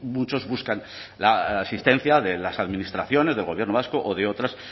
muchos buscan la asistencia de las administraciones del gobierno vasco o de otras